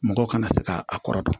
Mɔgɔw kana se ka a kɔrɔ dɔn